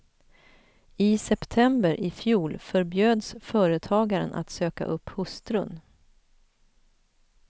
I september i fjol förbjöds företagaren att söka upp hustrun.